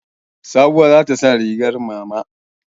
Sabuwa za ta sa rigar mama.